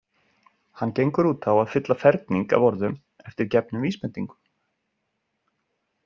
Hann gengur út á að fylla ferning af orðum eftir gefnum vísbendingum.